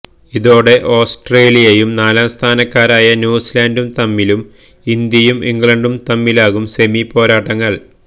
ഇതോടെ ഓസ്ട്രേലിയയും നാലാം സ്ഥാനക്കാരായ ന്യൂസിലൻഡും തമ്മിലും ഇന്ത്യയും ഇംഗ്ലണ്ടും തമ്മിലാകും സെമി പോരാട്ടങ്ങൾ